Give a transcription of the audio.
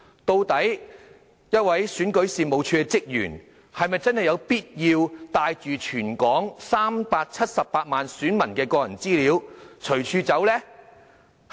究竟一名選舉事務處職員是否真的有必要帶着全港378萬選民的個人資料隨處走呢？